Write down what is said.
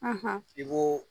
i ko